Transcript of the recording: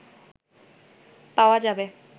পাওয়া যাবে